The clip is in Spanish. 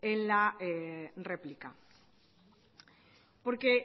en la réplica porque